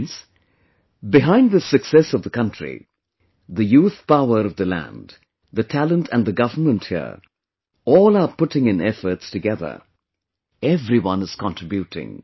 Friends, behind this success of the country, the youthpower of the land, the talent and the government here, all are putting in efforts together... everyone is contributing